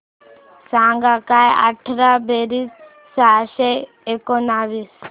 सांग काय अठरा बेरीज सहाशे एकोणीस